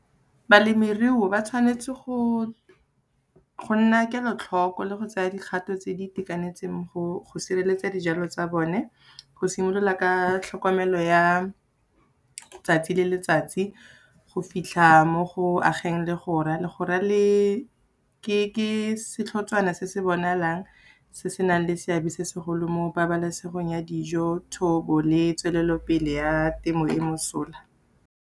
Balemiruo ba tshwanetse go nna kelotlhoko le go tseya dikgato tse di itekanetseng go sireletsa dijalo tsa bone, go simolola ka tlhokomelo ya 'tsatsi le letsatsi, go fitlha mo go ageng legora. Legora ke setlhotswana se se bonalang se se nang le seabe se segolo mo pabalesegong ya dijo, thobo le tswelelopele ya temo le mosola.